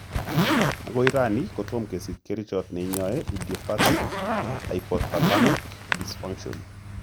Agoi rani tom kesich kerichot neinyoe idiopathic hypothalamic dysfunction.